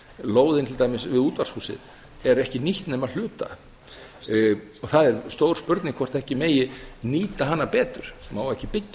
lóðin til dæmis við útvarpshúsið er ekki nýtt nema að hluta það er stór spurning hvort ekki megi nýta hana betur má ekki byggja